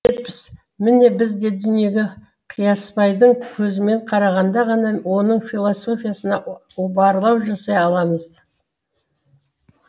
міне біз де дүниеге қиясбайдың көзімен қарағанда ғана оның философиясына барлау жасай аламыз